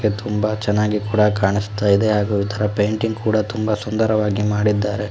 ತುಂಬಾ ಚೆನ್ನಾಗಿ ಕೂಡ ಕಾಣಿಸ್ತಾ ಇದೆ ಹಾಗು ಇದರ ಪೇಂಟಿಂಗ್ ಕೂಡ ತುಂಬಾ ಸುಂದರವಾಗಿ ಮಾಡಿದ್ದಾರೆ.